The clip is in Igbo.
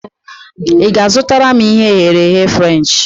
I ga-azụtara m ihe e ghere eghe Frenchi?